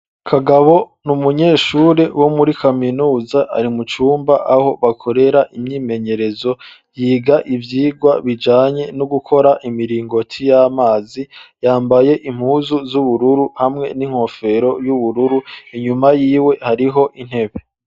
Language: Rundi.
Kagabo n'umunyeshure wo muri kaminuza ari mu cumba aho bakorera imyimenyerezo yiga ivyigwa bijanye no gukora imiringoti y'amazi yambaye impuzu z'ubururu hamwe n'inkofero y'ubururu inyuma yiwe hariho intebe.